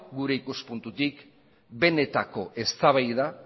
gure ikuspuntutik benetako eztabaida